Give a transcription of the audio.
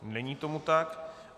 Není tomu tak.